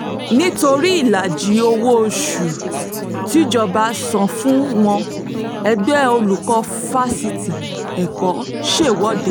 nítorí ìlàjì owó-oṣù tíjọba san fún wọn ẹgbẹ́ olùkọ́ fásitì èkó ṣèwọ̀de